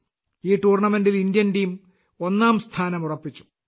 ഈ ടൂർണമെന്റിൽ Indian team ഒന്നാം സ്ഥാനം ഉറപ്പിച്ചു